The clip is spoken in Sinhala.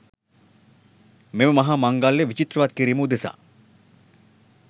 මෙම මහා මංගල්‍යය විචිත්‍රවත් කිරීම උදෙසා